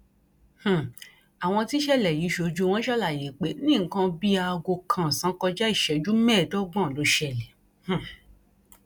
um àwọn tíṣẹlẹ yìí ṣojú wọn ṣàlàyé pé ní nǹkan bíi aago kan ọsán kọjá ìṣẹjú mẹẹẹdọgbọn ló ṣẹlẹ um